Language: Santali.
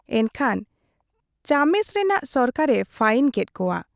ᱮᱱᱠᱷᱟᱱ ᱪᱟᱢᱮᱥ ᱨᱮᱱᱟᱜ ᱥᱚᱨᱠᱟᱨ ᱮ ᱯᱷᱟᱭᱤᱱ ᱠᱮᱫ ᱠᱚᱣᱟ ᱾